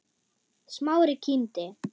Smári kímdi.